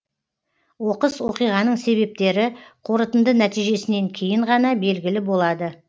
оқыс оқиғаның себептері қорытынды нәтижесінен кейін ғана белгілі болады